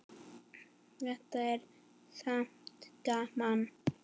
Þetta er samt gaman.